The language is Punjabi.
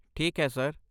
ਠੀਕ ਹੈ, ਸਰ।